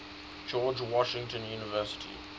george washington university